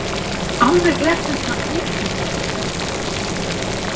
Alveg er þetta ótrúlegt!